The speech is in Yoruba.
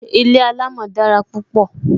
Ilé alamo dára púpọ